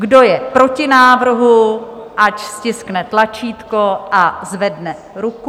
Kdo je proti návrhu, ať stiskne tlačítko a zvedne ruku.